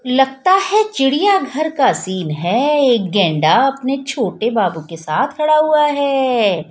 लगता है चिड़िया घर का सीन है एक गेंडा अपने छोटे बाबू के साथ खड़ा हुआ है।